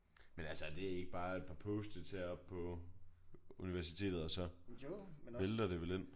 Men altså er det ikke bare et par post-its heroppe på universitetet og så vælter det vel ind?